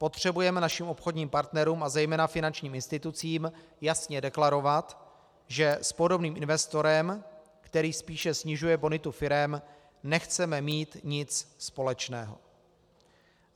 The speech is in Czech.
Potřebujeme našim obchodním partnerům a zejména finančním institucím jasně deklarovat, že s podobným investorem, který spíše snižuje bonitu firem, nechceme mít nic společného.